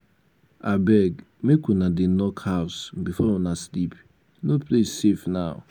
abeg make una dey lock house before una sleep. no place safe now.